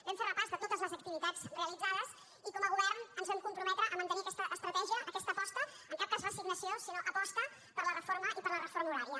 vam fer repàs de totes les activitats realitzades i com a govern ens vam comprometre a mantenir aquesta estratègia aquesta aposta en cap cas resignació sinó aposta per la reforma i per la reforma horària